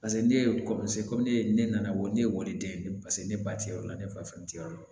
Paseke ne ye ko ne nana ko ne ye wari den ye paseke ne ba ti yɔrɔ la ne fa fɛn tɛ yɔrɔ la